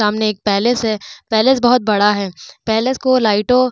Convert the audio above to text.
सामने एक पैलेस है। पैलेस बहोत बड़ा है। पैलेस को लाइटों --